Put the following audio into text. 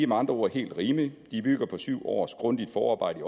med andre ord helt rimelige de bygger på syv års grundigt forarbejde